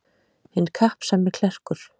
Hinn kappsami klerkur.